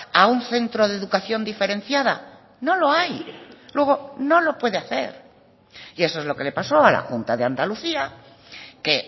a un centro de educación diferenciada no lo hay luego no lo puede hacer y eso es lo que le paso a la junta de andalucía que